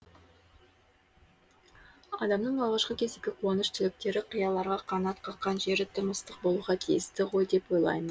адамның алғашқы кездегі қуаныш тілектері қияларға қанат қаққан жері тым ыстық болуға тиісті ғой деп ойлаймын